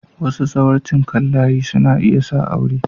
Wasu zawarcin kan layi suna iya sa aure.